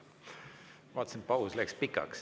Ma vaatasin, et paus läks pikaks ...